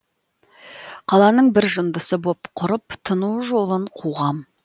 қаланың бір жындысы боп құрып тыну жолын қуғам